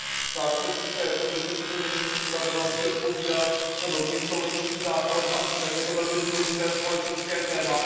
Sám jsem v České republice coby ministr spravedlnosti odpovídal za nový insolvenční zákon a vím, jak je to důležité společenské téma.